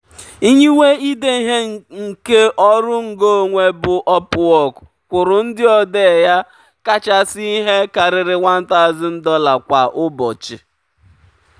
nyiwe ide ihe nke ọrụ ngo onwe bụ upwork kwụrụ ndị odee ya kachasị ihe karịrị $1000 kwa ụbọchị.